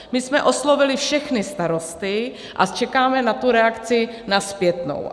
My jsme oslovili všechny starosty a čekáme na tu reakci, na zpětnou.